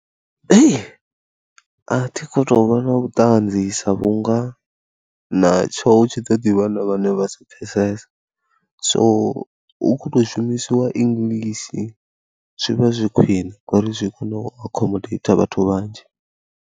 Hei, a thi khou tou vha na vhuṱanzi sa vhunga natsho tshi ḓo ḓi vha na vhane vha si pfhesesa, so hu khou tou shumisiwa English zwi vha zwi khwine ngori zwi a kona u accommodate vhathu vhanzhi.